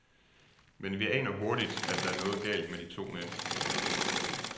Men vi aner hurtigt, at der er noget galt med de to mænd.